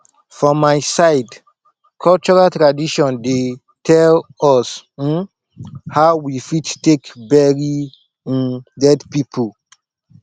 for my side cultural tradition dey tell us um how we fit take bury um dead pipo